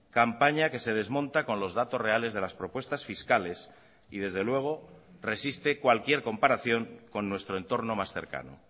campaña que se desmonta con los datos reales de las propuestas fiscales y desde luego resiste cualquier comparación con nuestro entorno más cercano